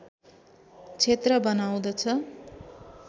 क्षेत्र बनाउदछ